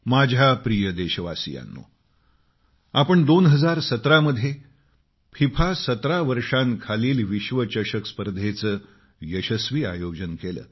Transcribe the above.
माझ्या प्रिय देशवासियांनो आपण 2017 मध्ये फिफा 17 वर्षाखालील विश्वचषक स्पर्धेचं यशस्वी आयोजन केलं